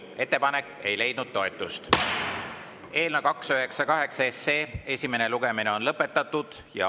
Ettepanek ei leidnud toetust ja eelnõu 298 esimene lugemine on lõpetatud.